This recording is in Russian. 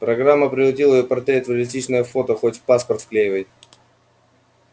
программа превратила её портрет в реалистичное фото хоть в паспорт вклеивай